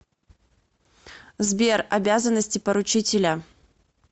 сбер обязанности поручителя